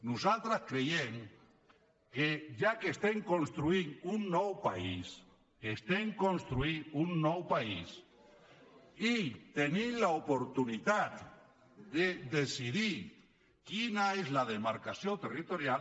nosaltres creiem que ja que estem construint un nou país que estem construint un nou país i tenim l’oportunitat de decidir quina és la demarcació territorial